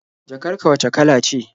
Jakar ka wacce kala ce?